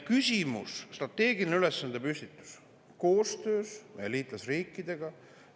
Küsimus on strateegilises ülesandepüstituses ja koostöös liitlasriikidega.